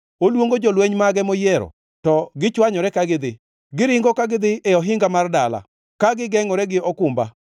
Oluongo jolweny mage moyiero, to gichwanyore ka gidhi. Giringo ka gidhi e ohinga mar dala; ka gigengʼore gi okumba.